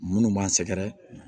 Munnu b'an sɛgɛrɛ